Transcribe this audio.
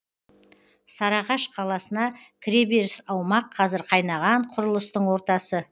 сарыағаш қаласына кіреберіс аумақ қазір қайнаған құрылыстың ортасы